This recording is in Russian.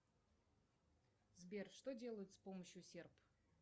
сбер что делают с помощью серп